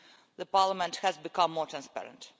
The Parliament has become more transparent.